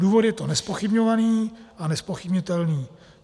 Důvod je to nezpochybňovaný a nezpochybnitelný.